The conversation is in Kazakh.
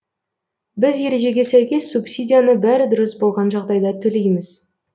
біз ережеге сәйкес субсидияны бәрі дұрыс болған жағдайда төлейміз